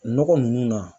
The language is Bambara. Nɔgɔ ninnu na